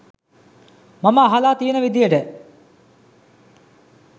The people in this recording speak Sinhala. මම අහල තියෙන විදිහට